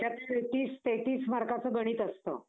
हम्म ते शाळेत गेलतो मग सगळ्यांना भेटलो.